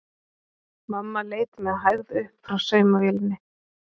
Mamma leit með hægð upp frá saumavélinni.